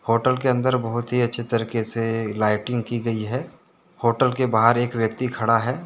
Hotel के अंदर बहुत ही अच्छे तरीके से लाइटिंग की गई है होटल के बाहर एक व्यक्ति खड़ा है।